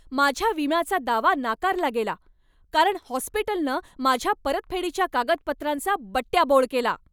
माझ्या विम्याचा दावा नाकारला गेला, कारण हॉस्पिटलनं माझ्या परतफेडीच्या कागदपत्रांचा बट्ट्याबोळ केला.